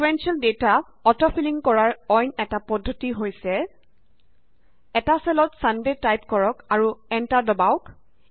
sequential data auto filling কৰাৰ অইন এটা পদ্ধতি হৈছে এটা চেলত ছান ডে টাইপ কৰক আৰু এন্টাৰ দবাওক